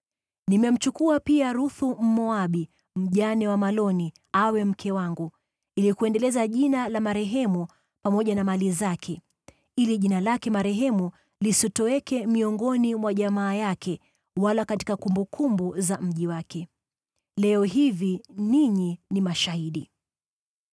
Nimemchukua pia Ruthu, Mmoabu, mjane wa Maloni, awe mke wangu, ili kuendeleza jina la marehemu pamoja na mali zake, ili jina lake marehemu lisitoweke miongoni mwa jamaa yake, wala katika kumbukumbu za mji wake. Leo hivi ninyi ni mashahidi!”